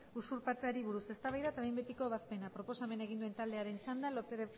usurpatzeari buruz eztabaida eta behin betiko ebazpena proposamena egin duen taldearen txanda lópez